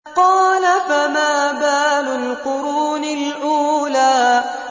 قَالَ فَمَا بَالُ الْقُرُونِ الْأُولَىٰ